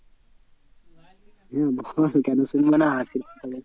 হ্যাঁ বল কেন শুনবো না হাসির কথা হলে